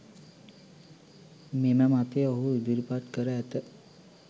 මෙම මතය ඔහු ඉදිරිපත් කර ඇත